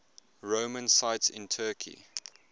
roman sites in turkey